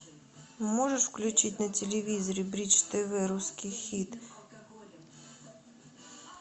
можешь включить на телевизоре бридж тв русский хит